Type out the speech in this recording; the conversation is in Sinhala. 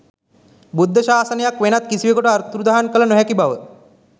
බුද්ධ ශාසනයක් වෙනත් කිසිවකුට අතුරුදන් කළ නොහැකි බව